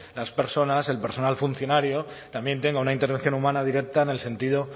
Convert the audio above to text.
las personas el personal funcionario también tenga una intervención humana directa en el sentido